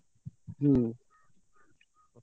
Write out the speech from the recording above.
ହୁଁ।